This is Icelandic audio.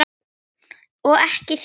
Og ekki þér heldur!